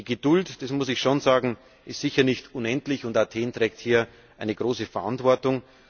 Die Geduld das muss ich schon sagen ist sicher nicht unendlich, und Athen trägt hier eine große Verantwortung.